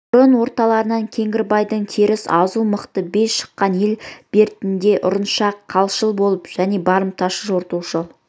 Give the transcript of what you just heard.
бұрын орталарынан кеңгірбайдың теріс азу мықты биі шыққан ел бертінде ұрыншақ қолшыл болып және барымташы жортуылшы